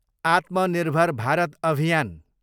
आत्मनिर्भर भारत अभियान